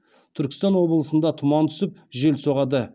түркістан облысында тұман түсіп жел соғады